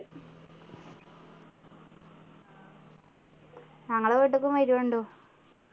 ഞങ്ങളെ വീട്ടിക്കും വരൂ ണ്ടു